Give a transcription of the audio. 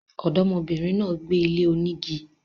Ọ̀dọ́mọ bìnrin náà gbé ilé onígi